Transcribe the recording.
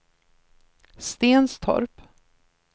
Stenstorp